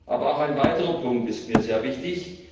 Aber auch ein weiterer Punkt ist mir sehr wichtig.